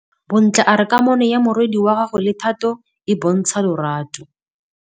Bontle a re kamanô ya morwadi wa gagwe le Thato e bontsha lerato.